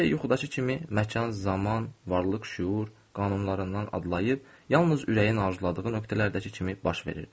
Hər şey yuxudakı kimi məkan, zaman, varlıq, şüur, qanunlarından adlayıb, yalnız ürəyin arzuladığı nöqtələrdəki kimi baş verirdi.